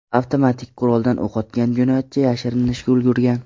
Avtomatik quroldan o‘q otgan jinoyatchi yashirinishga ulgurgan.